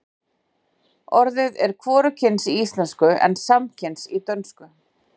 Orðið er hvorugkyns í íslensku en samkyns í dönsku.